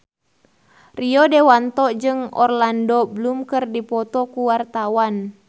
Rio Dewanto jeung Orlando Bloom keur dipoto ku wartawan